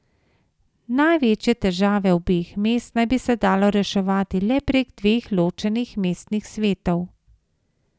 Največje težave obeh mest naj bi se dalo reševati le prek dveh ločenih mestnih svetov.